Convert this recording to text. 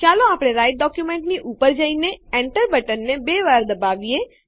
ચાલો આપણે રાઈટર ડોક્યુંમેંટની ઉપર જઈને Enter બટન બે વાર દબાવીએ